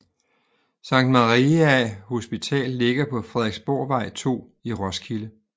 Sankt Maria Hospital ligger på Frederiksborgvej 2 i Roskilde